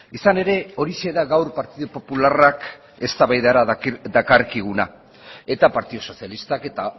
izan ere horixe da gaur partidu popularrak eztabaidara dakarkiguna eta partidu sozialistak eta